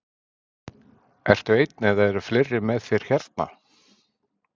Ertu einn eða eru fleiri með þér hérna?